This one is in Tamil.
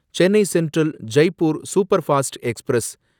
Chennai central Jaipur superfast express